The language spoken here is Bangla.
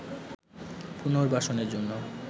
পুর্নবাসনের জন্য